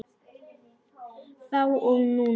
Þá og núna.